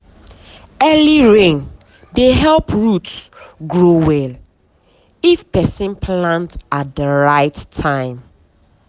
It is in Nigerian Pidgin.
early rain dey help root grow well if person plant at the right time.